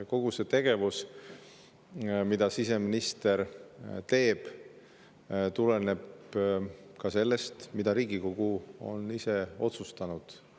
Kogu siseministri tegevus tuleneb ka sellest, mida Riigikogu on ise otsustanud.